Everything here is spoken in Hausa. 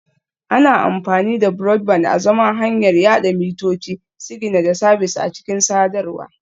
Ana amfani da Broadband azaman hanyar yada mitoci, sigina da sabis a cikin sadarwa